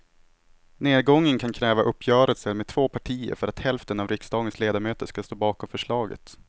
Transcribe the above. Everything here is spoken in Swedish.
Nedgången kan kräva uppgörelser med två partier för att hälften av riksdagens ledamöter ska stå bakom förslaget.